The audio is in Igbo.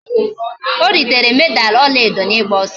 O ritere Meda ọla edo n'ịgba ọsọ